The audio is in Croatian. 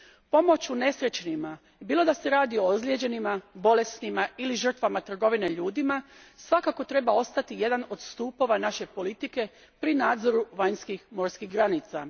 Pomoć unesrećenima, bilo da se radi o ozlijeđenima, bolesnima ili žrtvama trgovine ljudima, svakako treba ostati jedan od stupova naše politike pri nadzoru vanjskih morskih granica.